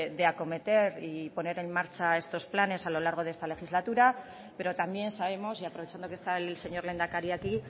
de acometer y poner en marcha estos planes a lo largo de esta legislatura pero también sabemos y aprovechando que está el señor lehendakari aquí